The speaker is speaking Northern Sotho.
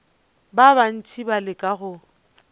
ba bantši ba leka go